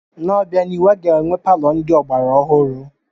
N'obianihu, a ga-enwe palọ ndị ọgbara ọhụrụ.